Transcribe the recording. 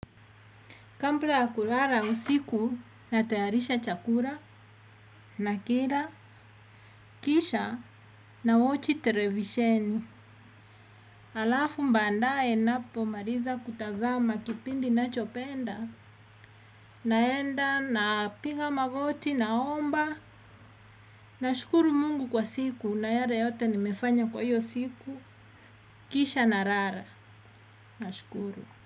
Kambla ya kulara usiku natayarisha chakura nakila, kisha nawochi terevisheni. Alafu mbandae napomaliza kutazama kipindi nachopenda naenda napiga magoti naomba nashukuru mungu kwa siku na yare yote nimefanya kwa hiyo siku. Kisha narara. Nashukuru.